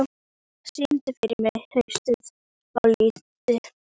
Minerva, syngdu fyrir mig „Haustið á liti“.